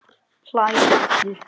Hlæ aftur.